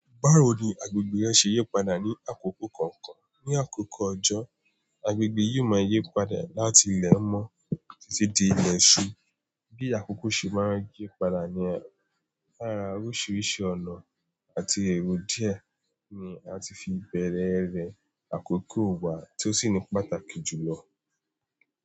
Báwo ni agbègbè rẹ ṣe yí padà ní àkókò kọ̀ọ̀kan? Ní àkókò ọjọ́, agbègbè yìí máa yí padà láti ilẹ̀ mọ́ títí di ilẹ̀ ṣú. Bí àkókò ṣe máa ń yí padà níyen lára oríṣiríṣi ọ̀nà àti èrò díẹ̀ ni a ti fi bẹ̀rẹ̀ ré àkókò wà tí ó sì ní pàtàkì jù lọ.